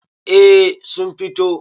eh sun fito